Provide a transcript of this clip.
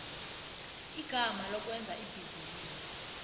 igama lokwenza ibhizinisi